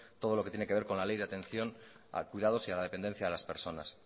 todo lo que tiene que ver con la ley de atención a cuidados y a la dependencia de las personas